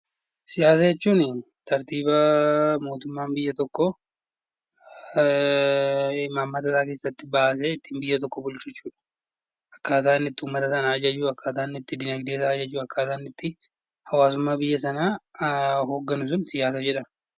Siyaasa jechuun tartiiba mootummaan biyya tokkoo imaammata isaa keessatti baasee ittiin biyya tokko bulchu akkaataa inni uummata sana ajaju akkaataa inni itti dinagdee sana ajaju hawaasummaa biyya sanaa kan to'atudha.